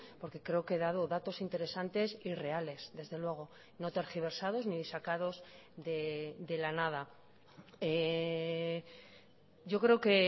porque creo que he dado datos interesantes y reales desde luego no tergiversados ni sacados de la nada yo creo que